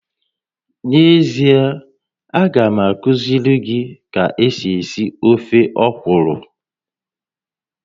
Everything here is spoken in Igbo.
N'ezie, a ga m akuziri gi ka esi esi ofe ọkwụrụ